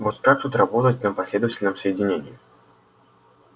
вот как тут работать на последовательном соединении